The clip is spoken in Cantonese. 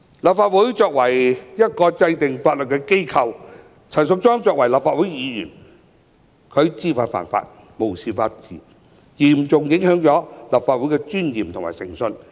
立法會作為制定法律的機構，陳淑莊議員作為立法會議員卻知法犯法、無視法治，嚴重影響立法會的尊嚴和誠信。